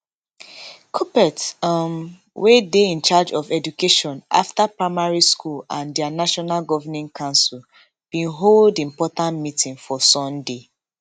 kuppet um wey dey in charge of education afta primary school and dia national governing council bin hold important meeting for sunday